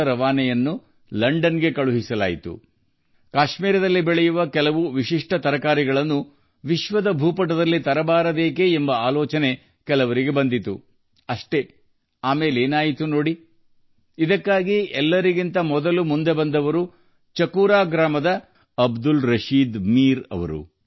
ಕೆಲವರಿಗೆ ಐಡಿಯಾ ಬಂತು ಕಾಶ್ಮೀರದಲ್ಲಿ ಬೆಳೆಯುವ ವಿದೇಶಿ ತರಕಾರಿಗಳನ್ನು ವಿಶ್ವ ಭೂಪಟಕ್ಕೆ ಏಕೆ ತರಬಾರದು ಅಂತಾ ಹಾಗಾಗಿ ಚಾಕುರಾ ಗ್ರಾಮದ ಅಬ್ದುಲ್ ರಶೀದ್ ಮಿರ್ ಇದಕ್ಕೆ ಮೊದಲು ಮುಂದಾದರು